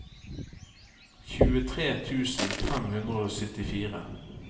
tjuetre tusen fem hundre og syttifire